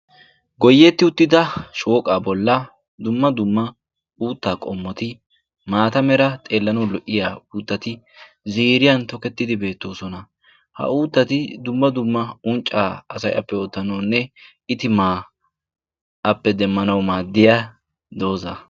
Goyyetti uttida shooqaa bolla dumma dumma uuttaa qommoti maata mera xeellano lo"iya uuttati ziiriyan tokettidi beettoosona. ha uuttati dumma dumma unccaa asayappe oottanoonne itimaa appe demmanawu maaddiya dooza.